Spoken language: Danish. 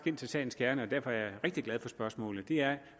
ind til sagens kerne og derfor er jeg rigtig glad for spørgsmålet er at